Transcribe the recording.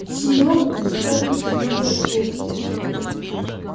серёга уставился илье в лоб